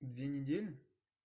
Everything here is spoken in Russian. две недели